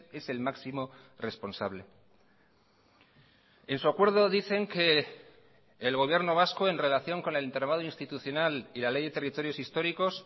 es el máximo responsable en su acuerdo dicen que el gobierno vasco en relación con el entramado institucional y la ley de territorios históricos